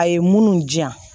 A ye munnu diyan